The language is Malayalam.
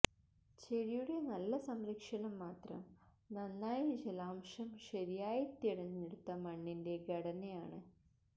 ചെടിയുടെ നല്ല സംരക്ഷണം മാത്രം നന്നായി ജലാംശം ശരിയായി തിരഞ്ഞെടുത്ത മണ്ണിന്റെ ഘടന ആണ്